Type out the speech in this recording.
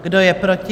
Kdo je proti?